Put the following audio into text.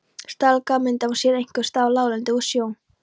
Setlagamyndun á sér einkum stað á láglendi og í sjó.